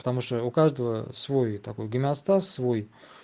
потому что у каждого свой такой гомеостаз свой